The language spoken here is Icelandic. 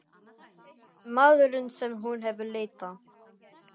Hann er maðurinn sem hún hefur leitað.